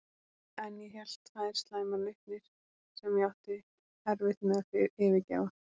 En ég hélt tvær slæmar nautnir, sem ég átti erfitt með að yfirgefa.